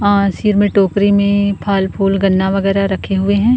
आ सिर में टोकरी में फल- फूल गन्ना वगैरह रखे हुए हैं।